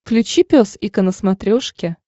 включи пес и ко на смотрешке